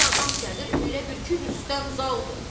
bir adam gəlir elə bil ki, Rüstəm Zaldır.